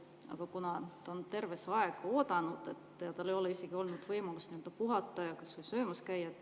Aga ta on terve see aeg oodanud, tal ei ole olnud võimalust puhata ja kas või söömas käia.